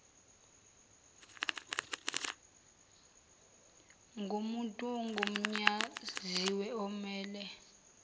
ngomuntu ogunyaziwe omele